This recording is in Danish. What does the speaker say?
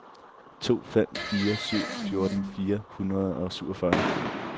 to fem fire syv fjorten fire hundrede og syvogfyrre